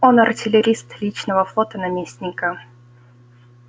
он артиллерист личного флота наместника